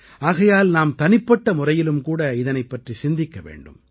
ஆகையால் நாம் தனிப்பட்ட முறையிலும் கூட இதனைப் பற்றி சிந்திக்க வேண்டும்